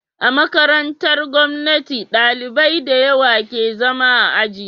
A makarantar gomnati ɗalibai dayawa ke zama a aji